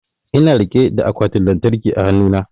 Ina rike da akwatin lantarkin a hanu na